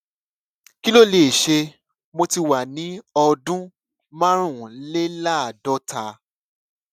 kí ló lè ṣe mo ti wà ní ọdún márùnléláàádọta